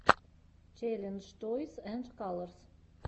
челлендж тойс энд калорс